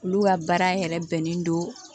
Olu ka baara yɛrɛ bɛnnen don